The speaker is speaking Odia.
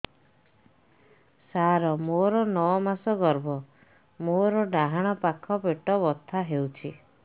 ସାର ମୋର ନଅ ମାସ ଗର୍ଭ ମୋର ଡାହାଣ ପାଖ ପେଟ ବଥା ହେଉଛି